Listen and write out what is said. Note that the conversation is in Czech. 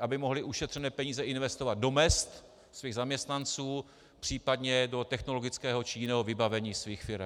aby mohli ušetřené peníze investovat do mezd svých zaměstnanců, případně do technologického či jiného vybavení svých firem.